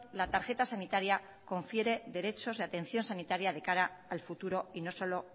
la tarjeta sanitaria confiere derechos de atención sanitaria de cara al futuro y no solo